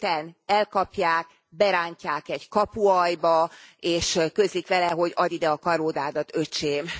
Öten elkapják, berántják egy kapualjba, és közlik vele, hogy Add ide a karórádat, Öcsém!